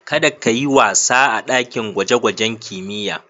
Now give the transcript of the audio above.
Kada ka yi wasa a ɗakin gwajen-gwajen kimiyya.